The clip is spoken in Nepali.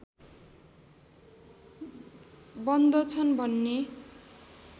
बन्दछन् भन्ने